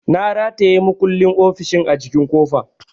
Na rataya makullin ofishin a jikin kofa.